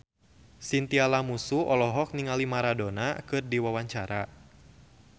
Chintya Lamusu olohok ningali Maradona keur diwawancara